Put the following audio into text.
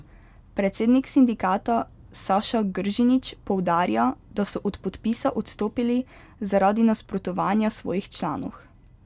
Predsednik sindikata Saša Gržinič poudarja, da so od podpisa odstopili zaradi nasprotovanja svojih članov.